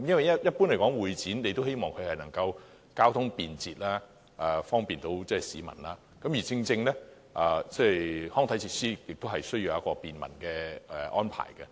一般而言，大家也希望會展場地交通便捷，方便市民，而康體設施同樣需要有便民的安排。